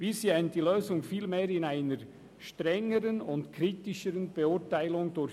Wir sehen die Lösung vielmehr in einer strengeren und kritischeren Beurteilung durch